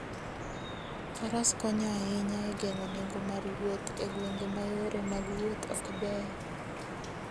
Faras konyo ahinya e geng'o nengo mar wuoth e gwenge ma yore mag wuoth ok beyo.